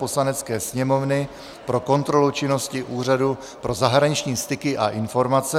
Poslanecké sněmovny pro kontrolu činnosti Úřadu pro zahraniční styky a informace,